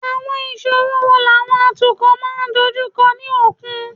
Àwọn ìṣòro wo làwọn atukọ̀ máa ń dojú kọ ní òkun?